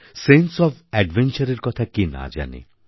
sense of অ্যাডভেঞ্চারএর কথা কে না জানে